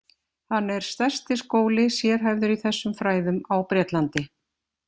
Hann er stærsti skóli sérhæfður í þessum fræðum á Bretlandi.